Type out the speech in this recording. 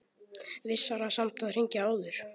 Vissara samt að hringja áður.